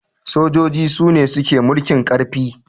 sojoji Sune suke mulkin karfi